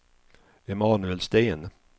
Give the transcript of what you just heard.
Emanuel Sten